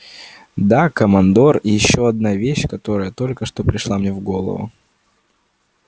да командор ещё одна вещь которая только что пришла мне в голову